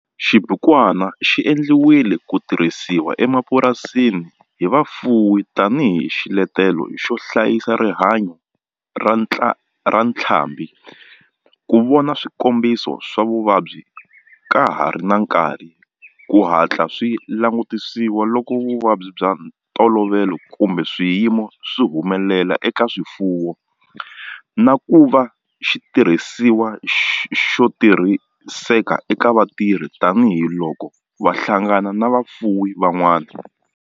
Xibukwana xi endliwe ku tirhisiwa emapurasini hi vafuwi tani hi xiletelo xo hlayisa rihanyo ra ntlhambhi, ku vona swikombiso swa vuvabyi ka ha ri na nkarhi ku hatla swi langutisiwa loko vuvabyi bya ntolovelo kumbe swiyimo swi humelela eka swifuwo, na ku va xitirhisiwa xo tirhiseka eka vatirhi tani hi loko va hlangana na vafuwi van'wana.